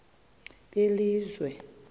belizwe